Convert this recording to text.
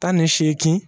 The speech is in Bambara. Tan ni seegin